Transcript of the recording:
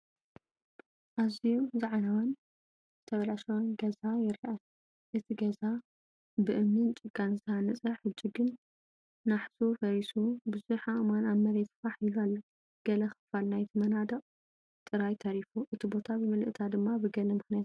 ኣዝዩ ዝዓነወን ዝተበላሸወን ገዛ ይረአ። እቲ ገዛ ብእምንን ጭቃን ዝተሃንጸ፣ ሕጂ ግን ናሕሱ ፈሪሱ ብዙሕ ኣእማን ኣብ መሬት ፋሕ ኢሉ ኣሎ። ገለ ክፋል ናይቲ መናድቕ ጥራይ ተሪፉ፡ እቲ ቦታ ብምልእታ ድማ ብገለ ምኽንያት ዝዓነወ ይመስል።